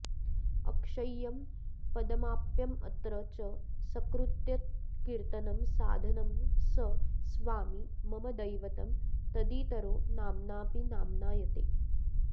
अक्षय्यं पदमाप्यमत्र च सकृद्यत्कीर्तनं साधनं स स्वामी मम दैवतं तदितरो नाम्नापि नाम्नायते